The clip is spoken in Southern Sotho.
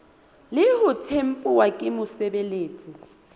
le ho tempuwa ke mosebeletsi